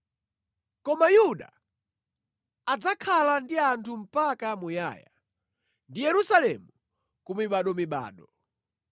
Koma Yuda adzakhala ndi anthu mpaka muyaya ndi Yerusalemu ku mibadomibado.